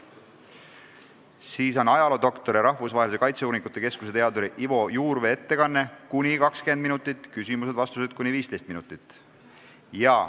Siis on ajaloodoktori, Rahvusvahelise Kaitseuuringute Keskuse teaduri Ivo Juurvee ettekanne, mis võib kesta 20 minutit ning küsimused-vastused kuni 15 minutit.